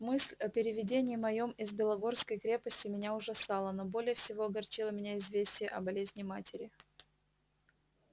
мысль о переведении моем из белогорской крепости меня ужасала но всего более огорчило меня известие о болезни матери